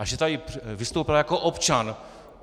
A že tady vystoupila jako občan.